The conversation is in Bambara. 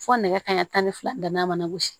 Fo nɛgɛ kanɲɛ tan ni fila danna a mana gosi